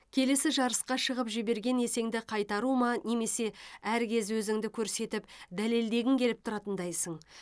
келесі жарысқа шығып жіберген есеңді қайтару ма немесе әркез өзіңді көрсетіп дәлелдегің келіп тұратындайсың